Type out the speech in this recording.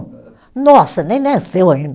Nossa, nem nasceu ainda